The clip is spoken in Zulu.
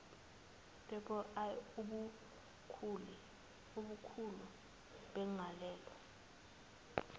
iii ubukhulu begalelo